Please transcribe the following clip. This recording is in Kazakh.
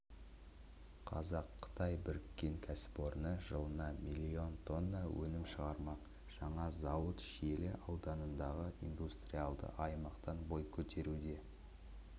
қазақ-қытай біріккен кәсіпорны жылына миллион тонна өнім шығармақ жаңа зауыт шиелі ауданындағы индустриалды аймақтан бой көтеруде